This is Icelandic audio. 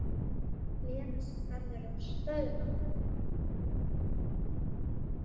Lena sem verður að stöðva.